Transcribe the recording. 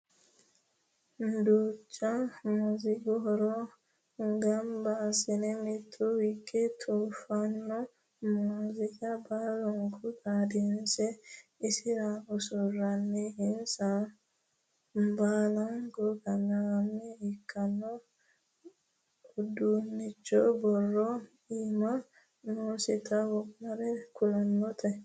Duucha muziiqu huuro gamba asse mite hige tufano muziiqa baallanka xaadinse isira usuroninna insa baallaho kaima ikkino uduunchoti borro iimaho noositino wo'mare kultano.